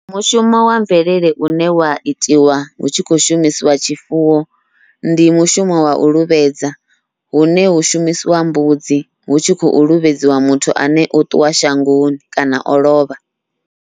Mushumo wa mvelele une wa itiwa hu tshi khou shumisiwa tshifuwo, ndi mushumo wau luvhedza hune hu shumisiwa mbudzi hu tshi khou levhedziwa muthu ane o ṱuwa shangoni kana o lovha.